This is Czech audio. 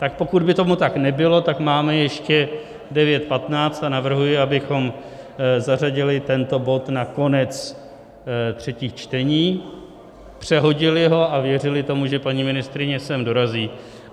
Tak pokud by tomu tak nebylo, tak máme ještě 9.15 a navrhuji, abychom zařadili tento bod na konec třetích čtení, přehodili ho a věřili tomu, že paní ministryně sem dorazí.